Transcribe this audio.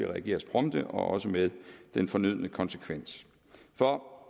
reageres prompte og også med den fornødne konsekvens for